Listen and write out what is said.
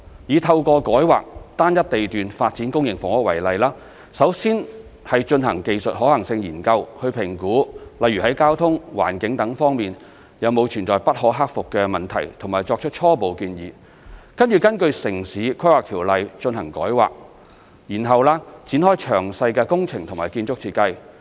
以透過改劃單一地段發展公營房屋為例，首先是進行技術可行性研究去評估，例如在交通、環境等方面有否存在不可克服的問題和作出初步建議，接着根據《城市規劃條例》進行改劃，然後展開詳細工程及建築設計。